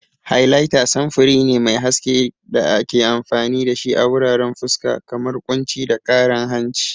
Highlighter samfuri ne mai haske da ake amfani da shi a wuraren fuska, kamar kunci da karan hanci.